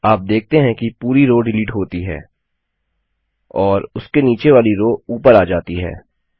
आप देखते हैं कि पूरी रो डिलीट होती है और उसके नीचे वाली रो ऊपर आ जाती है